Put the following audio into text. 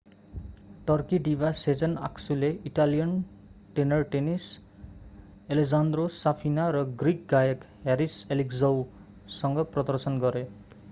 Turkey diva sezen aksu ले Italian tenor tennis alessandro safina र Greek गायक haris alexiou सँग प्रदर्शन गरे